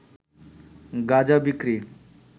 গাঁজা বিক্রি